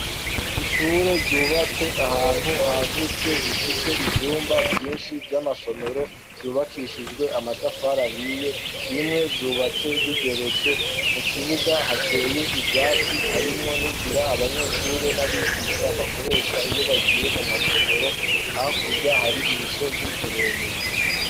Ishure ryubatse ahantu hagutse rifise ibyumba byinshi by'amasomero byubakishijwe amatafara hiye bimwe vyubatse bigeretse mu kibuga hateye ivyatsi harimwo n'inzira abanyeshure n'abigisha bakoresha iyo bagiye mu masomero hakurya hari imisozi miremire.